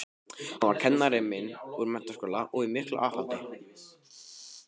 Hann var kennari minn úr menntaskóla og í miklu afhaldi.